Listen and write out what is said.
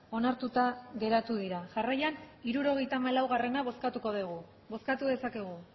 onartuta geratu dira jarraian hirurogeita hamalaugarrena bozkatuko dugu bozkatu dezakegu